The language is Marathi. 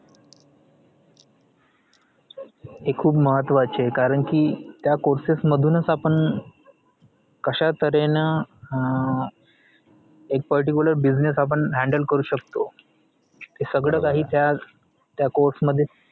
ते खूप महत्वाचे आहे कारण कि त्या courses मधुनच आपण कश्या तऱ्हेने अं एक particular business handle करु शकतो ते सगळं काही त्या त्या course मध्येच